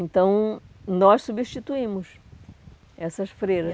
Então, nós substituímos essas freiras.